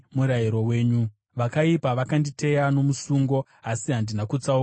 Vakaipa vakanditeya nomusungo, asi handina kutsauka pazvirevo zvenyu.